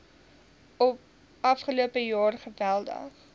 afgelope jaar geweldig